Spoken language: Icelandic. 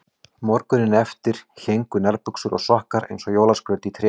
Morguninn eftir héngu nærbuxur og sokkar eins og jólaskraut í trénu.